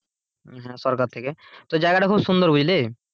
হ্যাঁ সরকার থেকে তো জায়গাটা খুব সুন্দর বুঝলি?